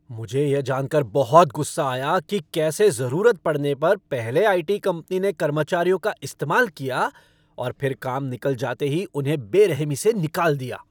मुझे यह जानकर बहुत गुस्सा आया कि कैसे जरूरत पड़ने पर पहले आई.टी. कंपनी ने कर्मचारियों का इस्तेमाल किया और फिर काम निकल जाते ही उन्हें बेरहमी से निकाल दिया।